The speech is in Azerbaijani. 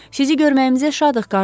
Sizi görməyimizə şadıq, qardaş.